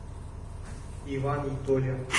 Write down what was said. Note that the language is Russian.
иван и толя